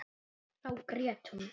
Þá grét hún.